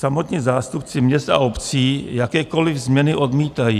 Samotní zástupci měst a obcí jakékoliv změny odmítají.